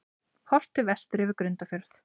Horft til vesturs yfir Grundarfjörð.